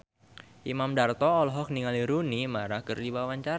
Imam Darto olohok ningali Rooney Mara keur diwawancara